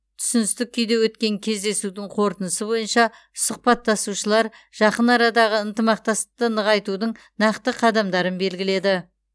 түсіністік күйде өткен кездесудің қорытындысы бойынша сұхбаттасушылар жақын арадағы ынтымақтастықты нығайтудың нақты қадамдарын белгіледі